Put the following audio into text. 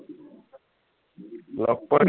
লগ পোৱা